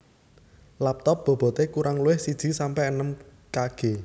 Laptop bobote kurang luwih siji sampe enem kg